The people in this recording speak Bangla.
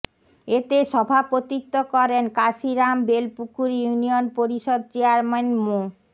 এতে সভাপতিত্ব করেন কাশিরাম বেলপুকুর ইউনিয়ন পরিষদ চেয়ারম্যান মো